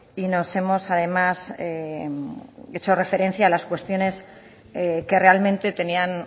y nos hemos además hecho referencia a las cuestiones que realmente tenían